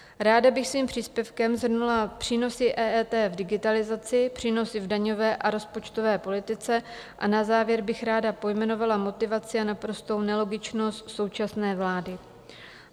Ráda bych svým příspěvkem shrnula přínosy EET v digitalizaci, přínosy v daňové a rozpočtové politice a na závěr bych ráda pojmenovala motivaci a naprostou nelogičnost současné vlády.